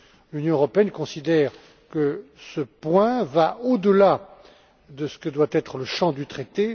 L'Union européenne considère que ce point va au delà de ce que doit être le champ du traité.